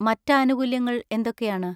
മറ്റ് ആനുകൂല്യങ്ങൾ എന്തൊക്കെയാണ്?